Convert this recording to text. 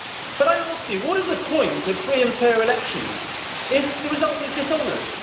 But I ask you all, what is the point of free and fair elections if the result is dishonoured?